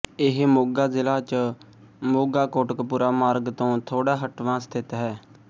ਇਹ ਮੋਗਾ ਜ਼ਿਲ੍ਹਾ ਚ ਮੋਗਾਕੋਟਕਪੂਰਾ ਮਾਰਗ ਤੋਂ ਥੋੜਾ ਹੱਟਵਾਂ ਸਥਿਤ ਹੈ